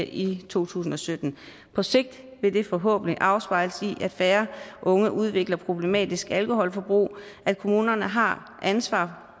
i to tusind og sytten på sigt vil det forhåbentlig afspejles i at færre unge udvikler problematisk alkoholforbrug at kommunerne har ansvar